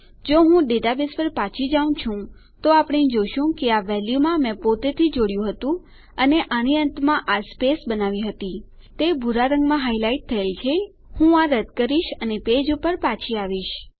જો હું ડેટાબેઝ પર પાછી જાઉં છું આપણે જોઈએ છીએ કે આ વેલ્યુમાં મેં પોતેથી જોડ્યું હતું અને આની અંતમાં આ સ્પેસ બનાવી હતી તે ભૂરા રંગમાં હાઈલાઈટ થયેલ છે હું આ રદ કરીશ અને પેજ પર પાછી આવીશ